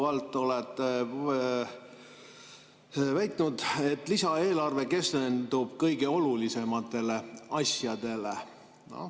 Te olete korduvalt väitnud, et lisaeelarve keskendub kõige olulisematele asjadele.